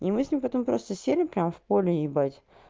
и мы с ним потом просто сели прямо в поле ебать